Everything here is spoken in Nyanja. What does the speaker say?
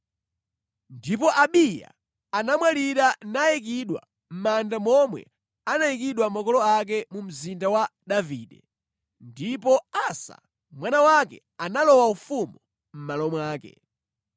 Ndipo Abiya anamwalira nayikidwa mʼmanda momwe anayikidwa makolo ake mu Mzinda wa Davide. Ndipo Asa, mwana wake analowa ufumu mʼmalo mwake.